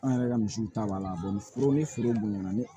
An yɛrɛ ka misiw ta b'a la foro ni foro bonya na ni